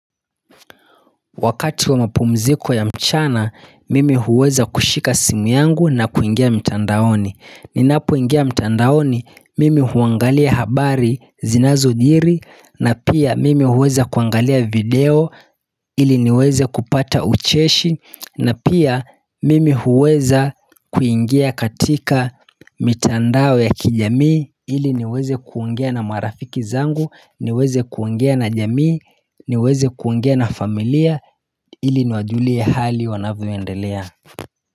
Wakati wa mapumziko ya mchana, mimi huweza kushika simu yangu na kuingia mtandaoni Ninapoingia mtandaoni, mimi huangalia habari zinazojiri na pia mimi huweza kuangalia video ili niweze kupata ucheshi na pia mimi huweza kuingia katika mitandao ya kijamii ili niweze kuongea na marafiki zangu, niweze kuongea na jamii, niweze kuongea na familia ili niwajulie hali wanavyoendelea.